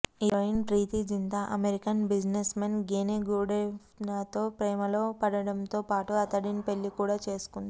heroine Preity Zinta American businessman Gene గుడెనఫ్తో ప్రేమలో పడటంతో పాటు అతడిని పెళ్లి కూడా చేసుకుంది